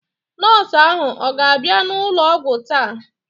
Nọọsụ ahụ ọ ga-abịa n'ụlọ ọgwụ taa?